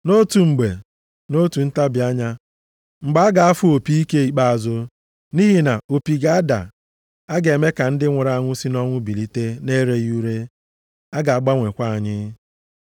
Nʼotu mgbe, nʼotu ntabi anya, mgbe a ga-afụ opi ike ikpeazụ. Nʼihi na opi ga-ada, a ga-eme ka ndị nwụrụ anwụ si nʼọnwụ bilite na-ereghị ure. A ga-agbanwekwa anyị.